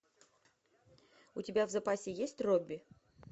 у тебя в запасе есть робби